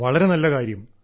വളരെ നല്ല കാര്യം